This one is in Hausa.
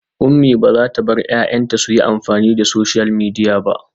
Umi bazata bar 'ya'yanta suyi amfani da social media ba